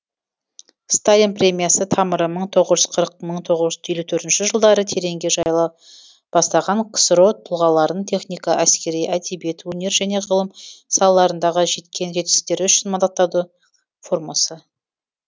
сталин премиясы тамыры мың тоғыз жүз қырық мың тоғыз жүз елу төртінші жылдары тереңге жайыла бастаған ксро тұлғаларын техника әскери әдебиет өнер және ғылым салаларындағы жеткен жетістіктері үшін мадақтады формасы